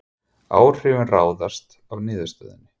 Áhrifin ráðast af niðurstöðunni